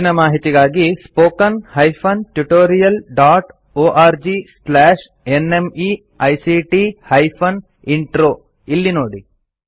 ಹೆಚ್ಚಿನ ಮಾಹಿತಿಗಾಗಿ spoken hyphen tutorial dot org slash NMEICT hyphen intro ಇಲ್ಲಿ ನೋಡಿ